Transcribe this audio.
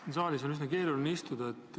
Siin saalis on üsna keeruline istuda.